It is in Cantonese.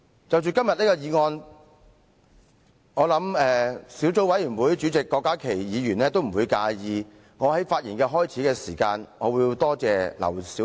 關於今天的議案，我想小組委員會主席郭家麒議員不會介意我在開始發言時先感謝前議員劉小麗。